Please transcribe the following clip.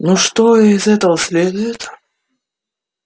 ну что из этого следует